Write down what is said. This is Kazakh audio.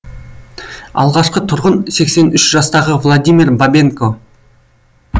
алғашқы тұрғын сексен үш жастағы владимир бабенко